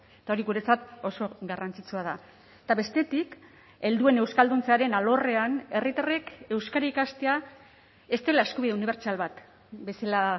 eta hori guretzat oso garrantzitsua da eta bestetik helduen euskalduntzearen alorrean herritarrek euskara ikastea ez dela eskubide unibertsal bat bezala